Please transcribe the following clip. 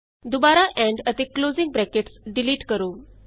ਦੁਬਾਰਾ ਏਐਮਪੀ ਅਤੇ closing brackets delete ਕਰੋ